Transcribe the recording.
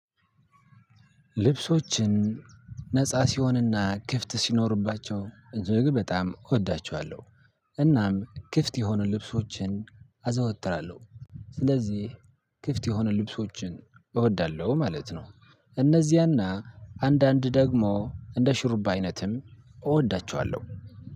ልብሶችን ነፃ ሲሆንና ክፍት ሲኖርባቸው እጅግ በጣም እወዳቸዋለሁ። እናም ክፍት የሆኑ ልብሶችን አዘወትራለሁ ስለዚህ ክፍት የሆኑ ልብሶችን እወዳለሁ ማለት ነው። እነዚያና አንዳንድ ደግሞ እንደ ሽራብ አይነትም እወዳቸዋለሁ።